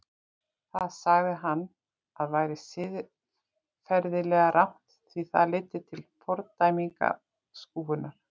Það sagði hann að væri siðferðilega rangt því það leiddi til fordæmingar og útskúfunar.